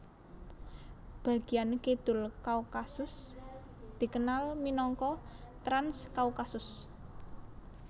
Bagian kidul Kaukasus dikenal minangka Transkaukasus